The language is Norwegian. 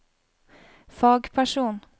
fagperson